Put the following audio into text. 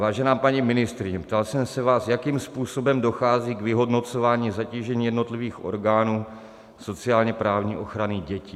Vážená paní ministryně, ptal jsem se vás, jakým způsobem dochází k vyhodnocování zatížení jednotlivých orgánů sociálně-právní ochrany dětí.